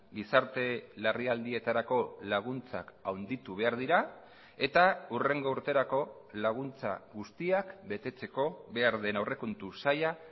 gizarte larrialdietarako laguntzak handitu behar dira eta hurrengo urterako laguntza guztiak betetzeko behar den aurrekontu saila